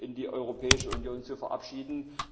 in die Europäische Union zu verabschieden.